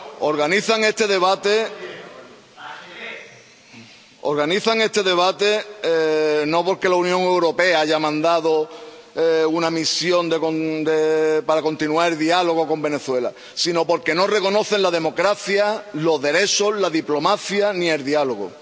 Organizan este debate no porque la Unión Europea haya mandado una misión para continuar el diálogo con Venezuela, sino porque no reconocen la democracia, los derechos, la diplomacia, ni el diálogo.